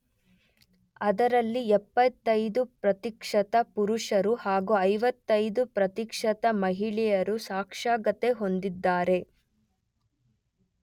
ಅದರಲ್ಲಿ ೭೫ ಪ್ರತಿಶತ ಪುರುಷರು ಹಾಗೂ ೫೫ ಪ್ರತಿಶತ ಮಹಿಳೆಯರು ಸಾಕ್ಷರತೆ ಹೊಂದಿದೆ.